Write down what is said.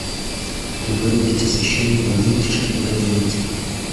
вырубить освещение у вытяжки в одиннадцать